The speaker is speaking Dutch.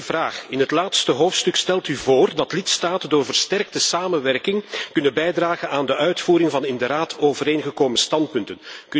Eén vraag in het laatste hoofdstuk stelt u voor dat lidstaten door versterkte samenwerking kunnen bijdragen aan de uitvoering van in de Raad overeengekomen standpunten.